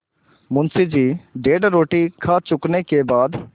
मुंशी जी डेढ़ रोटी खा चुकने के बाद